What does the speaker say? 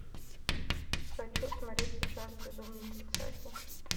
хочу смотреть сейчас безумный тридцатник